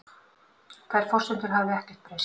Þær forsendur hafi ekkert breyst